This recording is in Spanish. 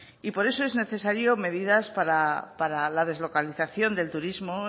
y por eso son necesarias medidas para la deslocalización del turismo